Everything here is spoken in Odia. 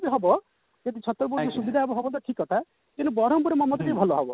ହବ କିନ୍ତୁ ଛତ୍ରପୁରରୁ ସୁବିଧା ହବ ତ ଠିକ କଥା କିନ୍ତୁ ବରମ୍ପୁର ରୁ ମୋ ମତରେ ଟିକେ ଭଲ ହବ